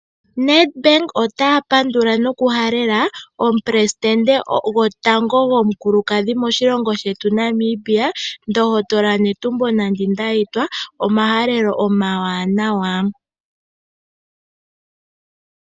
Nedbank otaya pandula nokuhalela omupelesidente gotango gomukulukadhi moshilongo shetu moNamibia, ndohotola Netumbo Nandi-Ndaitwah omahalelo omawanawa.